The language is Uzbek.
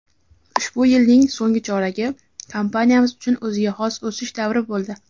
ushbu yilning so‘ngi choragi kompaniyamiz uchun o‘ziga xos o‘sish davri bo‘ldi.